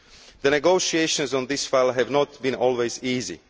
The negotiations on this file have not always been